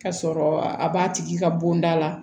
Ka sɔrɔ a b'a tigi ka bonda la